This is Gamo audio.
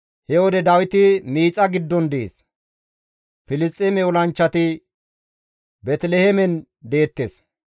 He wode Dawiti miixa giddon dees; Filisxeeme olanchchati Beeteliheemen deettes.